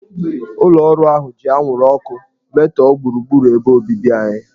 Ụlọ ọrụ ahụ ji anwụrụ ọkụ metọọ gburugburu ebe obibi anyị.